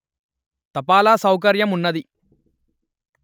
తపాలా సౌకర్యం వున్నది